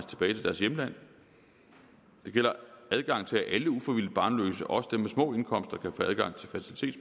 at hjemland det gælder adgang til at alle ufrivilligt barnløse også dem med små indkomster